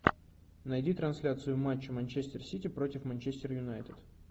найди трансляцию матча манчестер сити против манчестер юнайтед